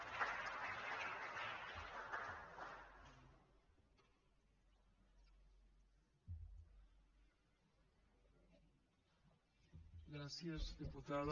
gràcies diputada